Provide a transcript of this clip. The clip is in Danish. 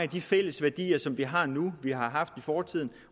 de fælles værdier som vi har nu vi har haft i fortiden